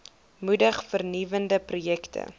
moedig vernuwende projekte